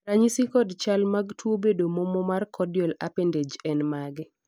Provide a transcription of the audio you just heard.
ranyisi kod chal mag tuo bedo momo mar caudal appendage en mage?